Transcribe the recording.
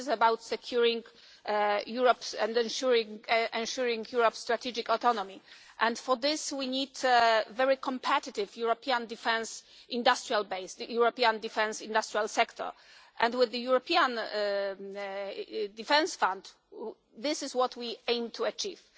This is about securing and ensuring Europe's strategic autonomy, and for this we need a very competitive European defence industrial base, a European defence industrial sector, and with the European defence fund this is what we aim to achieve.